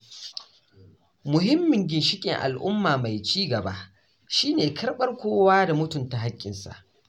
Muhimmin ginshiƙin al’umma mai ci gaba shine karɓar kowa da mutunta hakkin sa.